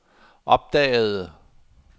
opdagede